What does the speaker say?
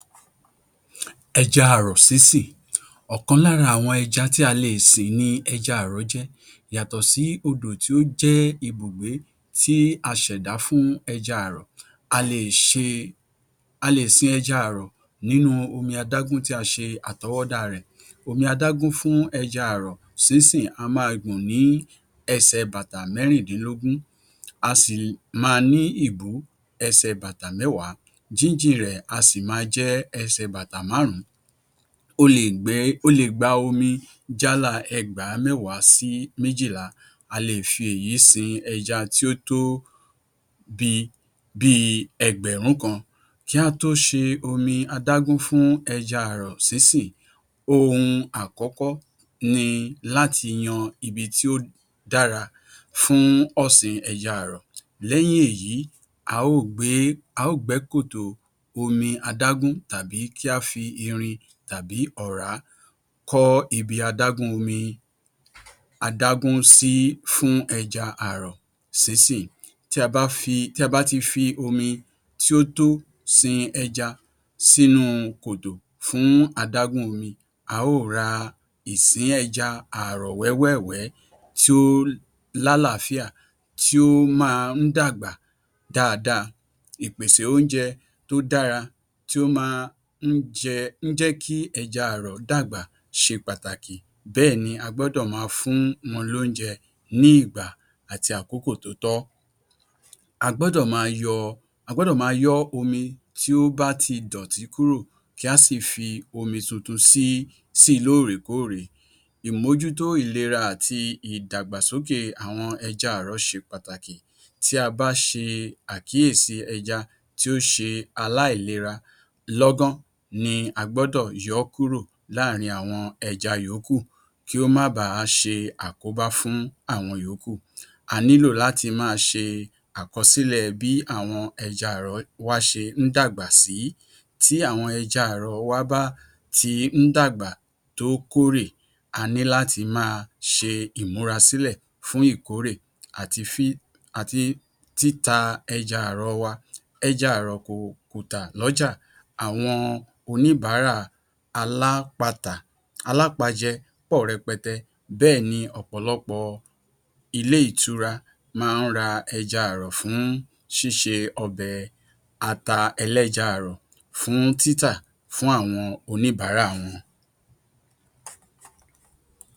Ẹja àrọ̀ sísìn Ọ̀kan lára àwọn ẹja tí a lè sìn ni ẹja àrọ̀ jẹ́. Yàtọ̀ sí odò tí ó jẹ́ ibùgbé tí a ṣẹ̀dá fún ẹja àrọ̀, a lè ṣe, a lè sin ẹja àrọ̀ nínú omi adágún tí a ṣe àtọwọ́dá rẹ̀. Omi adágún fún ẹja àrọ̀ sínsìn á máa gùn ní ẹsẹ̀ bàtà mẹ́rìndìnlógún, á sì máa ní ìbú ẹsẹ̀ bàtà mẹ́wàá. Jíjìn rẹ̀ á sì máa jẹ́ ẹsẹ̀ bàtà máàrún. Ó lè gbẹ́, ó lè gba omi jálàá ẹgbàá mẹ́wàá sí méjìlá. A lè fi èyí sin ẹja tí ó tó bi bíi ẹgbẹ̀rún kan. Kí a tó ṣe omi adágún fún ẹja àrọ̀ sínsìn, ohun àkọ́kọ́ ni láti yan ibi tí ó dára fún ọ̀sìn ẹja àrọ̀. Lẹ́yìn èyí, a ó gbé é, a ó gbẹ́ kòtò omi adágún tàbí kí á fi irin tàbí ọ̀rá kọ́ ibi adágún omi adágún sí fún ẹja àrọ̀ sínsìn. Tí a bá fi tí a bá ti fi omi tí ó tó sin ẹja sínu kòtò fún adágún omi, a ó ra ìsín ẹja àrọ̀ wẹ́wẹ̀wẹ́ tí ó lálàáfíà tí ó máa ń dàgbà dáadáa. Ìpèsè oúnjẹ tí ó dára tí ó máa n jẹ́ ń jẹ́ kí ẹja àrọ̀ dàgbà ṣe pàtàkì bẹ́ẹ̀ ni a gbọ́dọ̀ máa fún wọn loúnjẹ ní ìgbà àti àkókò tó tọ́. A gbọ́dọ̀ máa yọ, a gbọ́dọ̀ máa yọ́ omi tí ó bá ti dọ̀tí kúrò kí a sì fi omi tuntun sí, si lóòr̀ekóòrè. Ìmojútó ìlera àti ìdàgbàsókè àwọn ẹja àrọ̀ ṣe pàtàkì. Tí a bá ṣe àkíyèsi ẹja tí ó ṣe aláìlera, lọ́gán ni a gbọ́dọ̀ yọ́ kúrò láàrin àwọn ẹja yòókù kí ó má ba ṣe àkóbá fún àwọn ìyókù. A nílò láti máa ṣe àkọsílẹ̀ bí àwọn ẹja àrọ̀ wa ṣe ń dàgbà sí. Tí àwọn ẹja àrọ̀ wa bá ti ń dàgbà tó kórè, a ní láti máa ṣe ìmúrasílẹ̀ fún ìkóórè àti um àti títa ẹja àrọ̀ wa. Ẹja àrọ̀ kò lọ́jà. Àwọn oníbàárà alápatà, alápajẹ pọ̀ rẹpẹtẹ. Bẹ́ẹ̀ ni ọ̀pọ̀lọpọ̀ ilé ìtura máa ń ra ẹja àrọ̀ fún ṣíṣe ọbẹ̀ ata ẹlẹ́ja àrọ̀ fún títà fún àwọn oníbàárà wọn.